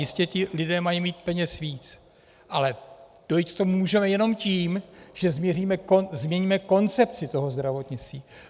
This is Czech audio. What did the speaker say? Jistě ti lidé mají mít peněz víc, ale dojít k tomu můžeme jenom tím, že změníme koncepci toho zdravotnictví.